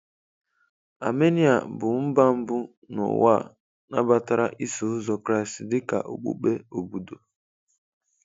Armenia bụ mba mbụ n'ụwa nabatara Iso Ụzọ Kraịst dị ka okpukpe obodo.